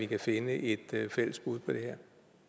kan finde et fælles bud på det her